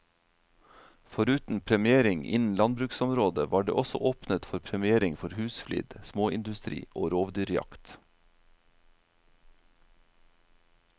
Foruten premiering innen landbruksområdet var det også åpnet for premiering for husflid, småindustri og rovdyrjakt.